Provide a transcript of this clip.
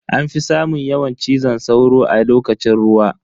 Anfi samun yawan ciwon cizo sauro a lokacin ruwa.